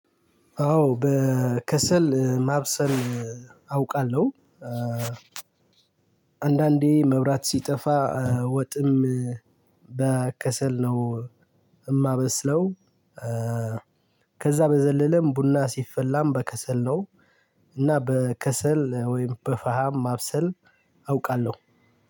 አዎ በከሰል ማብሰል አውቃለሁ። አንዳንዴ መብራት ሲጠፋ ወጥም በከሰል ነው የማበስለው። ከዛ በዘለለም ቡና ሲፈላም በከሰል ነው። እና በከሰል ወይም በፈሃም ማብሰል አውቃለሁ።